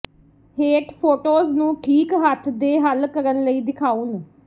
ਹੇਠ ਫੋਟੋਜ਼ ਨੂੰ ਠੀਕ ਹੱਥ ਦੇ ਹੱਲ ਕਰਨ ਲਈ ਦਿਖਾਉਣ